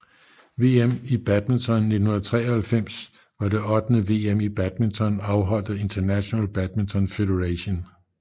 VM i badminton 1993 var det ottende VM i badminton afholdt af International Badminton Federation